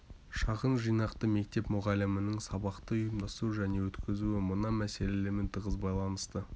шағын жинақты мектеп мұғалімінің сабақты ұйымдастыру және өткізуі мына мәселелермен тығыз байланысты